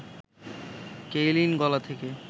Kaylin গলা থেকে